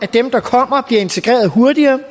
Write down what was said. dem der kommer bliver integreret hurtigere i